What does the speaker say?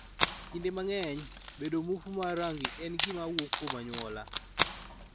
Kinde mang�eny, bedo muofu mar rangi en gima wuok kuom anyuola.